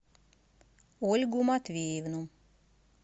ольгу матвеевну